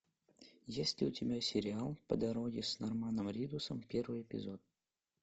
есть ли у тебя сериал по дороге с норманом ридусом первый эпизод